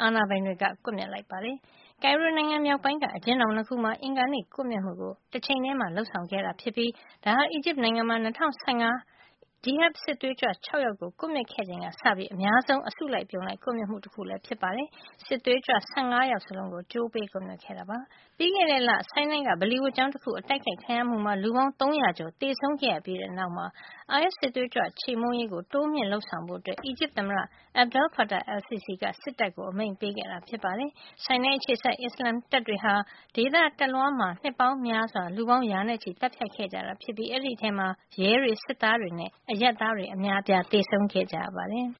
အာဏာပိုင်တွေက ကွပ်မျက်လိုက်ပါတယ်။ ကိုင်ရိုမြို့တော် မြောက်ပိုင်းက အကျဉ်းထောင် ၂ ခုမှာ အင်္ဂါနေ့ ကွပ်မျက်မှုကို တချိန်ထဲမှာ လုပ်ဆောင်ခဲ့တာ ဖြစ်ပြီး ဒါဟာ အီဂျစ်နိုင်ငံမှာ ၂၀၁၅ ခုနှစ်က ဂျီဟဒ် စစ်သွေးကြွ ၆ ယောက်ကို ကွပ်မျက်ခဲ့ချိန်ကစပြီး အများဆုံး အစုလိုက် အပြုံလိုက် ကွပ်မျက်မှုလည်း ဖြစ်ပါတယ်။ စစ်သွေးကြွ ၁၅ ယောက်စလုံးကို ကြိုးပေးကွပ်မျက် ခဲ့တာပါ။ ပြီးခဲ့တဲ့လ ဆိုင်းနိုင်းက ပလီဝတ်ကျောင်း တခု အတိုက်ခိုက် ခံရမှုမှာ လူပေါင်း ၃၀၀ ကျော် သေဆုံးခဲ့ရ ပြီးတဲ့နောက်မှာတော့ အိုင်အက်စ် စစ်သွေးကြွ ခြေမှုန်းရေးကို တိုးမြှင့် လုပ်ဆောင်ဖို့ အီဂျစ်သမ္မတ Abdel Fattah al-Sisi က စစ်တပ်ကို အမိန့်ပေးခဲ့တာ ဖြစ်ပါတယ်။ ဆိုင်းနိုင်းအခြေစိုက် အစ္စလာမ်တပ်တွေဟာ ဒေသတလွှားမှာ နှစ်ပေါင်းများစွာ လူပေါင်း ရာနဲ့ချီသတ်ဖြတ်ခဲ့ကြတာ ဖြစ်ပြီး အဲဒီထဲမှာ ရဲတွေ၊ စစ်သားတွေနဲ့အရပ်သားတွေ အများအပြား သေဆုံးခဲ့ရပါတယ်။